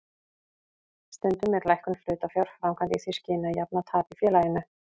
Stundum er lækkun hlutafjár framkvæmd í því skyni að jafna tap í félaginu.